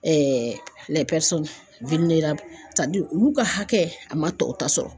olu ka hakɛ a man tɔw ta sɔrɔ.